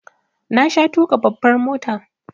Na sha tuƙa babbar mota